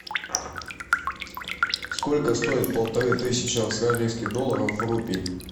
сколько стоит полторы тысячи австралийских долларов в рупий